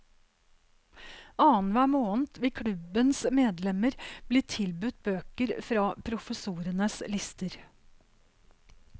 Annenhver måned vil klubbens medlemmer bli tilbudt bøker fra professorenes lister.